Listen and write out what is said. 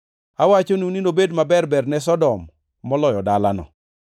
Awachonu ni nobed maber-ber ne Sodom maloyo dalano.